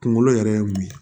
Kunkolo yɛrɛ ye mun ye